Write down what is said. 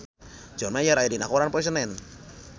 John Mayer aya dina koran poe Senen